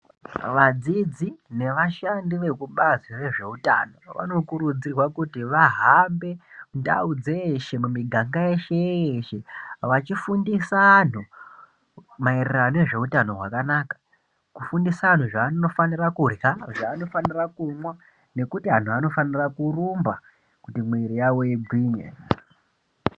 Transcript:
Vadzidzi nevashandi vekubazi rezveutano vanokurudzirwa kuti vahambe mundau dzeshe mumiganga yeshe-yeshe vachifundisa anhu maererano nezveutano hwakanaka, kufundisa anhu zvaanofanira kuyha, zvaanofanira kumwa, nekuti anhu anofanira kurumba kuti mwiiri yawo igwinye.